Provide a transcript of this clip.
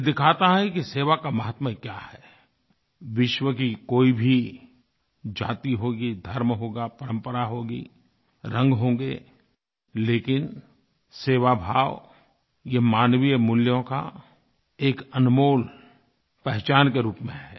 यह दिखाता है कि सेवा का माहात्म्य क्या है विश्व की कोई भी जाति होगी धर्म होगा परम्परा होगी रंग होंगे लेकिन सेवाभाव ये मानवीय मूल्यों की एक अनमोल पहचान के रूप में है